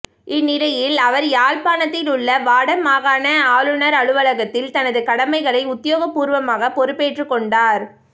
இந்நிலையில் அவர் யாழ்ப்பாணத்திலுள்ள வடமாகாண ஆளுனர் அலுவலகத்தில் தனது கடமைகளை உத்தியோகபூர்வமாக பொறுப்பேற்றுக்கொண்டார்